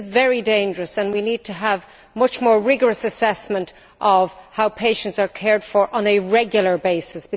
This is very dangerous, and we need to have much more rigorous assessment of how patients are cared for, on a regular basis.